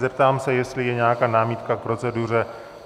Zeptám se, jestli je nějaká námitka k proceduře.